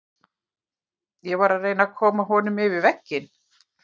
Ég var að reyna að koma honum yfir vegginn.